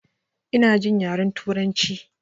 Ina jin yaren sinanci